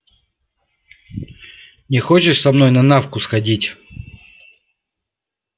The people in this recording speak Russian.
не хочешь со мной на навку сходить